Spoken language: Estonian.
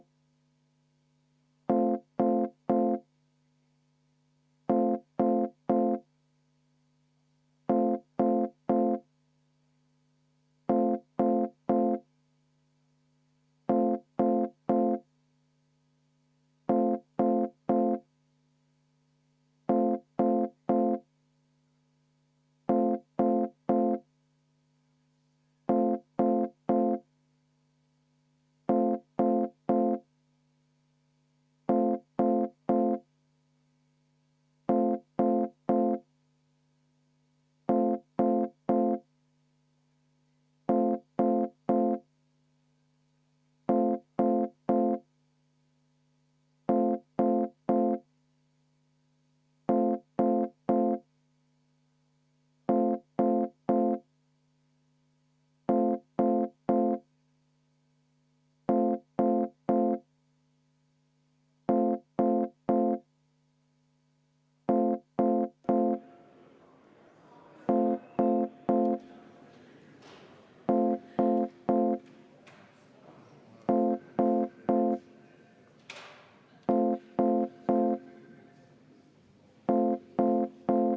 V a h e a e g